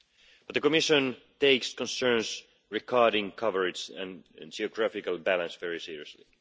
But the Commission takes concerns about coverage and geographical balance very seriously.